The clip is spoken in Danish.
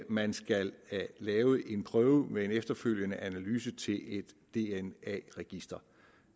man skal lave en prøve med en efterfølgende analyse til et dna register